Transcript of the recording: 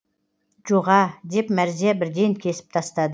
жоға деп мәрзия бірден кесіп тастады